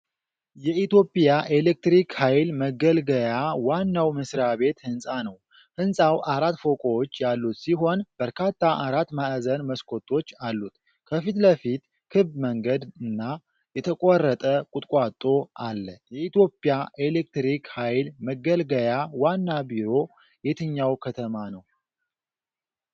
የኢትዮጵያ ኤሌክትሪክ ኃይል መገልገያ ዋናው መስሪያ ቤት ሕንፃ ነው። ሕንጻው አራት ፎቆች ያሉት ሲሆን በርካታ አራት ማዕዘን መስኮቶች አሉት። ከፊት ለፊቱ ክብ መንገድ እና የተቆረጠ ቁጥቋጦ አለ። የኢትዮጵያ ኤሌክትሪክ ኃይል መገልገያ ዋና ቢሮ የትኛው ከተማ ነው?